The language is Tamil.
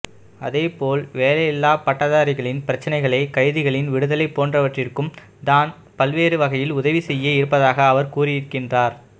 அதேபோல் வேலையில்லாப் பட்டதாரிகளின் பிரச்சினைகளை கைதிகளின் விடுதலை போன்றவற்றிற்கும் தான் பல்வேறு வகையில் உதவி செய்ய இருப்பதாக அவர் கூறியிருக்கின்றார்